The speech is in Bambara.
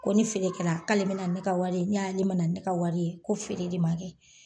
Ko ni feere kɛla k'ale bina ni ne ka wari ye n'ale mana ni ne ka wari ye ko feere de ma kɛ.